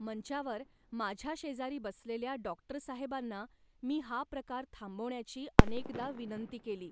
मंचावर माझ्याशेजारी बसलेल्या डॉक्टरसाहेबांना मी हा प्रकार थांबवण्याची अनेकदा विनंती केली